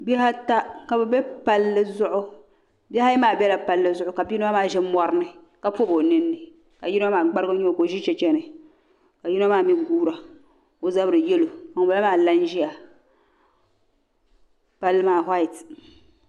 Bihi ata ka bɛ be palli zuɣu bihi ayi maa bela palli zuɣu ka biyino maa be morini ka pobi o ninni ka yino maa gbarigu n nyɛ o ka o ʒi cheche ni ka yino maa mi guura o zabri yelo ka ŋun bala maa. la n ʒia palli maa waati.